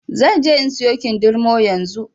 Zanje in in siyo kindirmo yanzu.